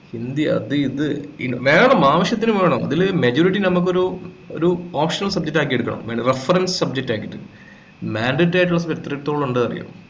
ഹിന്ദി അത് ഇത് വേണം ആവശ്യത്തിന് വേണം അതിലെ majority നമുക്ക് ഒരു ഒരു optional subject ആക്കി എടുക്കണം reference subject ആക്കിയിട്ട് mandatory ആയിട്ട് എത്രത്തോളംണ്ട് അറിയ്യോ